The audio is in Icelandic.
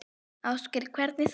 Ásgeir: Hvernig þá?